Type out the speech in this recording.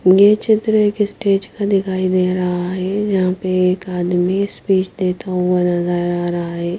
ये चित्र के स्टेज क दिखाई दे रहा है जहॉ पर एक आदमी स्पीच देता हुआ नजर आ रहा है।